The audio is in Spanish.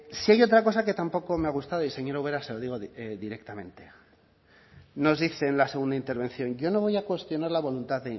si hay otra cosa que tampoco me ha gustado y señora ubera se lo digo directamente nos dice en la segunda intervención yo no voy a cuestionar la voluntad